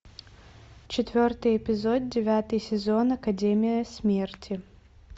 четвертый эпизод девятый сезон академия смерти